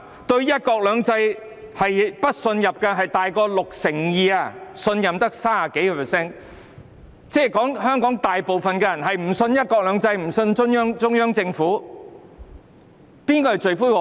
對"一國兩制"不信任的多於 62%， 而信任的只有 30% 多，即是說香港大部分人均不相信"一國兩制"和中央政府，誰是罪魁禍首？